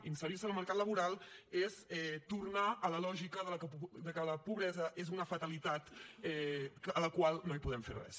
inserir se al mercat laboral és tornar a la lògica de que la pobresa és una fatalitat a la qual no hi podem fer res